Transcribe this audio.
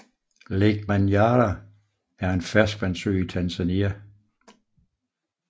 Lake Manyara er en ferskvandssø i Tanzania